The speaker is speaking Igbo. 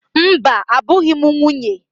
Mba, abụghị m nwunye.